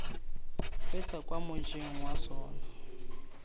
feta kwa mojeng wa sona